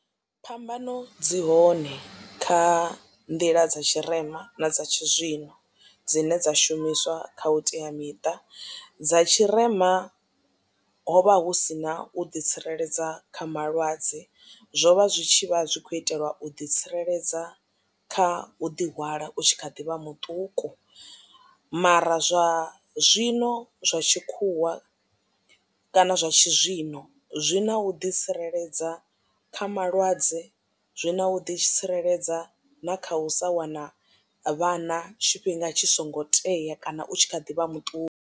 Phambano dzi hone kha nḓila dza tshirema na dza tshizwino dzine dza shumiswa kha vhuteamiṱa dza tshirema ho vha hu sina u ḓitsireledza kha malwadze zwo vha zwi tshivha zwi kho itelwa u ḓitsireledza kha u ḓi hwala u tshi kha ḓivha muṱuku mara zwa zwino zwa tshikhuwa kana zwa tshizwino zwi na u ḓi tsireledza kha malwadze zwi na u ḓi tsireledza na kha u sa wana vhana tshifhinga tshi songo tea kana u tshi kha ḓi vha muṱuku.